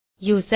user